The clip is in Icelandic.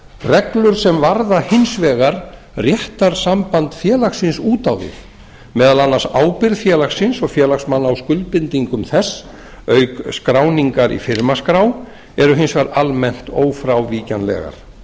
reglur sem varða hins vegar réttarsamband félagsins út á við meðal annars ábyrgð félagsins og félagsmanna á skuldbindingum þess auk skráningar í firmaskrá eru hins vegar almennt ófrávíkjanlegar